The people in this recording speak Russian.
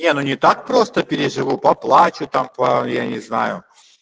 не так просто переживаю поплачу там я не знаю